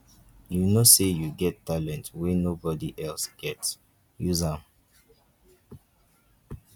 you know sey you get talent wey nobod else get use am.